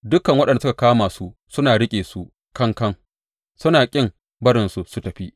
Dukan waɗanda suka kama su suna riƙe su kankan, suna kin barinsu su tafi.